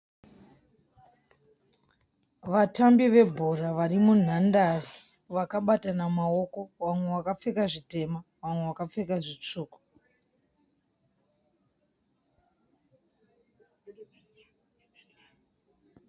Vatambi vebhora vari munhandare vakabatana maoko. Vamwe vakapfeka zvitema vamwe vakapfeka zvitsvuku.